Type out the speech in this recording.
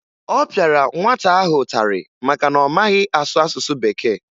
Ọ pịara nwata ahụ ụtarị maka na ọ maghị asụ asụsụ Bekee